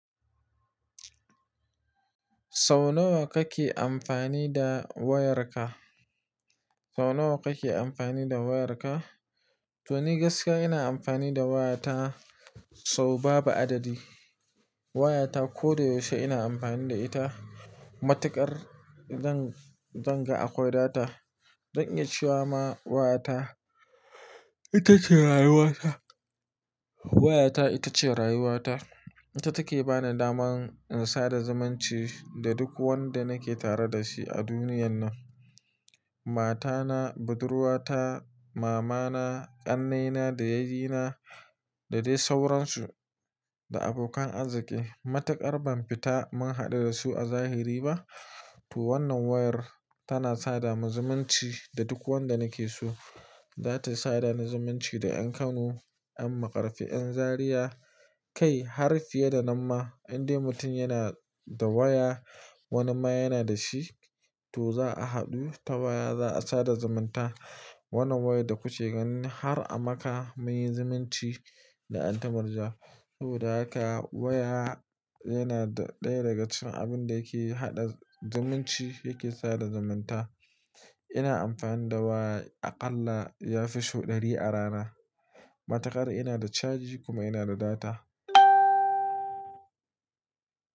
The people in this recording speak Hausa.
Sau nawa kake amfani da wayarka? Sau nawa kake amfani da wayarka? To ni gaskiya ina amfani da wayata sau babu adadi. Wayata ko da yaushe ina amfani da ita. Matukar zan, zan ga akwai data, zan iya cewa ma wayata ita ce rayuwata. Wayata ita ce rayuwata. Ita take bani daman in sada zumunci da duk wanda nake tare da shi a duniyan nan. Matana, budurwata, mamana, ƙannena da yayina da dai sauransu da abokan arziki. Matakar ban fita mun haɗu da su a zahiri ba, to wannan wayar tana sada mun zumunci da duk wanda nake so. Zata sada ni zumunci da ƴan Kano, ƴan Maƙarfi, ƴan Zariya kai har fiye da nan ma. Inde mutum yana da waya wani ma yana da shi, to za a haɗu ta waya za a sada zumunta. Wannan wayar da kuke ganin har a Makkah muyi zumunci da anti murja. Saboda haka waya yana ɗaya daga cikin abin da yake haɗa zumunci, yake sada zumunta. Ina amfani da waya a ƙalla ya fi saudl ɗari a rana. Matakar ina da caji kuma ina da data.